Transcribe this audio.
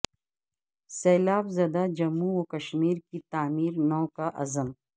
سیلاب زدہ جموں و کشمیر کی تعمیر نو کا عزم